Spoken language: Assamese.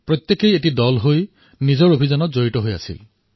সকলোৱে দল গঠন কৰি নিজৰ অভিযানৰ সৈতে জড়িত হৈ পৰিল